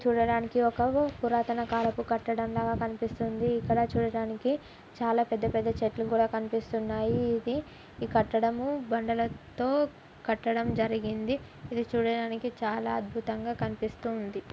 చూడటానికి ఒక పురాతన కాలపు కట్టడం లాగా కనిపిస్తుంది. ఇక్కడ చూడటానికి చాలా పెద్ద పెద్ద చెట్లు కూడా కనిపిస్తున్నాయి. ఇది ఈ కట్టడం బండెలతో కట్టడం జరిగింది. ఇది చూడటానికి చాలా అద్భుతంగా కనిపిస్తూ ఉంది.